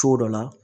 Cogo dɔ la